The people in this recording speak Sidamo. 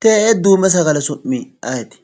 Tee''ee duume sagale su'mi ayeeti?